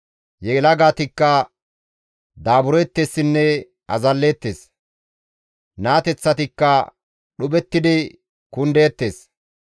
Yelagatikka daabureettessinne azalleettes; naateththatikka dhuphettidi kundeettes;